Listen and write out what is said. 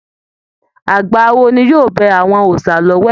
Àgbà awo ni yóò bẹ àwọn òòsà l'ọwẹ̀.